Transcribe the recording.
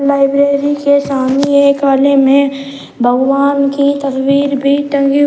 library के सामने एक आले में भगवान की तस्वीर भी टंगी--